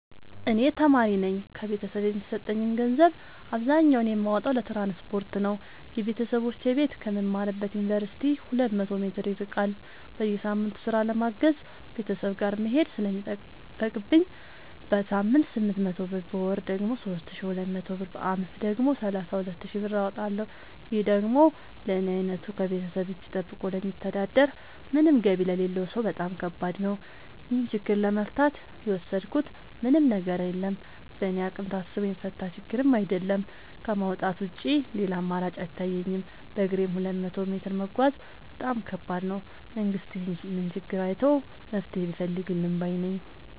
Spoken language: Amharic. እኔ ተማሪነኝ ከቤተሰብ የሚሰጠኝን ገንዘብ አብዛኛውን የማወጣው ለትራንስፖርት ነው የበተሰቦቼ ቤት ከምማርበት ዮንቨርሲቲ ሁለት መቶ ሜትር ይርቃል። በየሳምቱ ስራ ለማገዝ ቤተሰብ ጋር መሄድ ስለሚጠቅብኝ በሳምንት ስምንት መቶ ብር በወር ደግሞ ሶስት ሺ ሁለት መቶ ብር በአመት ደግሞ ሰላሳ ሁለት ሺ ብር አወጣለሁ ይህ ደግሞ ለኔ አይነቱ ከቤተሰብ እጂ ጠብቆ ለሚተዳደር ምንም ገቢ ለሌለው ሰው በጣም ከባድ ነው። ይህን ችግር ለመፍታት የወሰድኩት ምንም ነገር የለም በእኔ አቅም ታስቦ የሚፈታ ችግርም አይደለም ከማውጣት ውጪ ሌላ አማራጭ አይታየኝም በግሬም ሁለት መቶ ሜትር መጓዝ በጣም ከባድ ነው። መንግስት ይህንን ችግር አይቶ መፍትሔ ቢፈልግልን ባይነኝ።